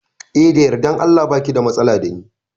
Eh da yardan Allah baki da matsala dani